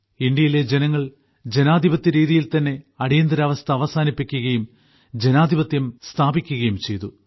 ഇന്ത്യയിലെ ജനങ്ങൾ ജനാധിപത്യ രീതിയിൽ തന്നെ അടിയന്തിരാവസ്ഥ അവസാനിപ്പിക്കുകയും ജനാധിപത്യം സ്ഥാപിക്കുകയും ചെയ്തു